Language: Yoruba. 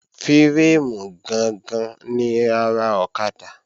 Fírémù gangan ni ara ọ̀kadà